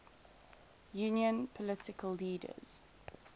union political leaders